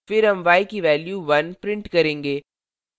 फिर हम y की value 1 print करेंगे